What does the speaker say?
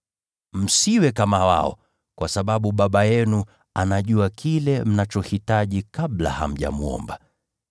Msiwe kama wao, kwa sababu Baba yenu anajua kile mnachohitaji kabla hamjamwomba.